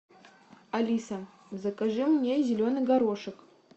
алиса закажи мне зеленый горошек